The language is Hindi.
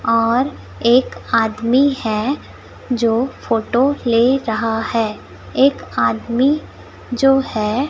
और एक आदमी है जो फोटो ले रहा है एक आदमी जो है--